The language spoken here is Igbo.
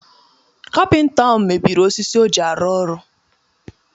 Kapịnta ahụ mebiri osisi o ji arụ ọrụ